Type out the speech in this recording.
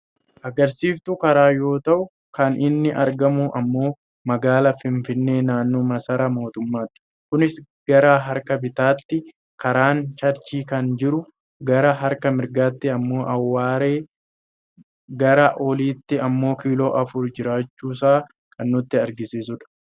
Agarsiiftuu karaa yoo ta'u kan inni argamu ammoo magaalaa finfinnee naannoo masaaraa mootummaatti. kunis gara harka bitaatti karaan charchil kan jiru, gara harka mirgaatti ammoo awwaaree , gara oliitti ammoo kiiloo afurii jiraachuusaa kan nutti agarsiisudha.